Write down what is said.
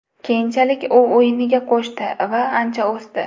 Keyinchalik u o‘yiniga qo‘shdi va ancha o‘sdi.